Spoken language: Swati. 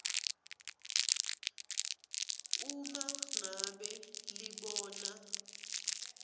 uma ngabe libona